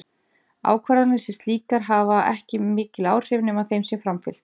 Ákvarðanir sem slíkar hafa ekki mikil áhrif nema þeim sé framfylgt.